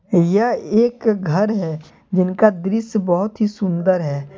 यह एक घर है जिनका दृश्य बहोत ही सुन्दर है।